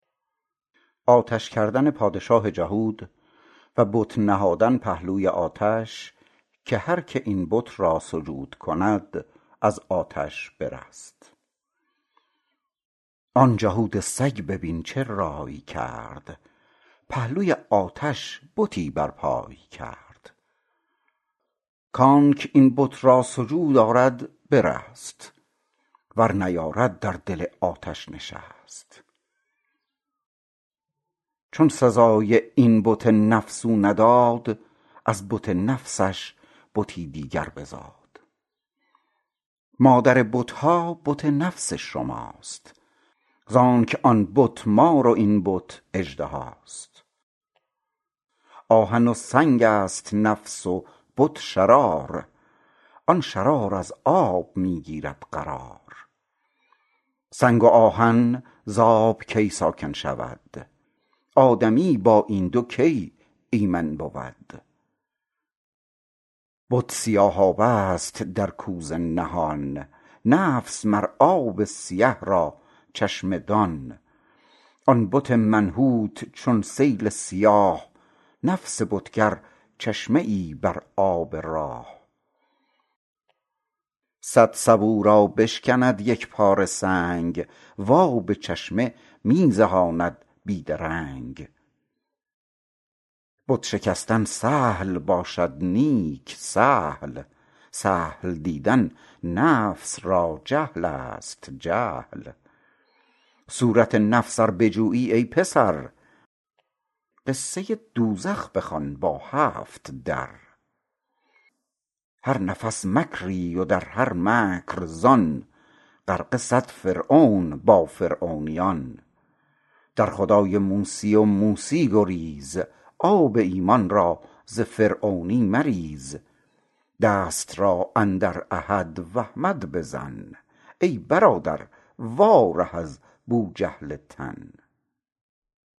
آن جهود سگ ببین چه راٰی کرد پهلوی آتش بتی بر پای کرد کانکه این بت را سجود آرد برست ور نیارد در دل آتش نشست چون سزای این بت نفس او نداد از بت نفسش بتی دیگر بزاد مادر بتها بت نفس شماست زانک آن بت مار و این بت اژدهاست آهن و سنگست نفس و بت شرار آن شرار از آب می گیرد قرار سنگ و آهن زآب کی ساکن شود آدمی با این دو کی ایمن بود بت سیاهابه ست در کوزه نهان نفس مر آب سیه را چشمه دان آن بت منحوت چون سیل سیاه نفس بتگر چشمه ای بر آب راه صد سبو را بشکند یکپاره سنگ و آب چشمه می زهاند بی درنگ بت شکستن سهل باشد نیک سهل سهل دیدن نفس را جهلست جهل صورت نفس ار بجویی ای پسر قصه دوزخ بخوان با هفت در هر نفس مکری و در هر مکر زان غرقه صد فرعون با فرعونیان در خدای موسی و موسی گریز آب ایمان را ز فرعونی مریز دست را اندر احد و احمد بزن ای برادر وا ره از بوجهل تن